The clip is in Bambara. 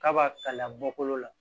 K'a b'a kala bɔkolo la